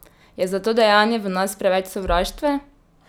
Je za to dejanje v nas preveč sovraštva?